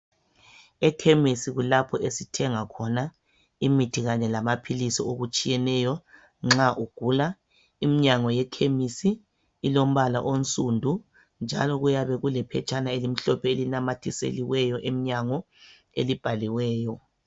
Ekhemesi kulapho esithenga khona imithi Kanye lamaphilisi lokunye okutshiyeneyo nxa ugula iminyango yekhemisi ilombala onsudu njalo kuyabe kulephetshana elimhlophe elinamathiselweyo emnyango elibhaliweyo